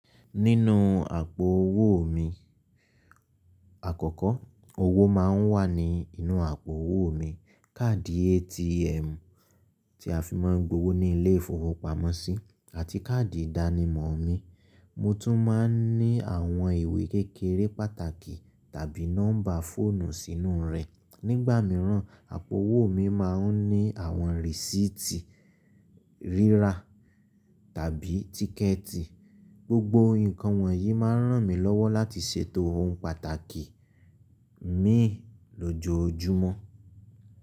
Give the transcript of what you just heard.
Nínú àpò owó mi, àkọ́kọ́ owó máa ń wà ní inú àpò owó mi, káàdì ATM tí a fi máa ń gbowó ní ilé ìfowópamọ́sí àti káàdì ìdánimọ̀ mi. Mo tún máa ń ní àwọn ìwé kékeré pàtàkì tàbí nọ́mbà fóònù sínú rẹ̀. Nígbà míràn, àpò owó mi máa ń ní àwọn rísíìtì rírà tàbí tíkẹ́ẹ̀tì. Gbogbo nǹkan wọ̀nyí máa ń ràn mí lọ́wọ́ láti ṣètò ohun pàtàkì mii lójoojúmọ́.